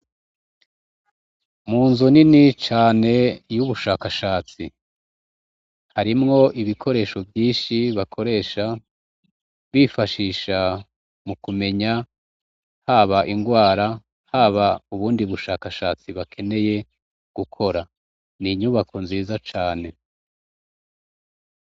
Mu nzo ni ni cane y'ubushakashatsi harimwo ibikoresho vyinshi bakoresha bifashisha mu kumenya haba ingwara haba ubundi bushakashatsi bakeneye gukora ni inyubako nziza cane.